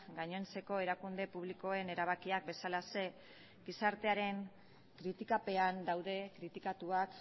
gainontzeko erakunde publikoen erabakiak bezalaxe gizartearen kritikapean daude kritikatuak